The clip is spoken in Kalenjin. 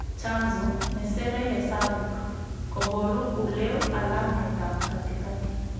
Chanzo:Nesere hesabuk. Koboru uleu alametab katikati